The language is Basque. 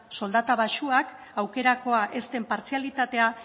soldata baxuak aukerakoa ez den partzialitatea